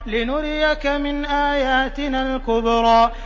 لِنُرِيَكَ مِنْ آيَاتِنَا الْكُبْرَى